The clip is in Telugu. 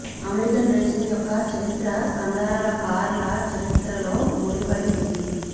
అమెరికన్ రేసింగ్ యొక్క చరిత్ర కండరాల కార్ల చరిత్రలో ముడిపడి ఉంది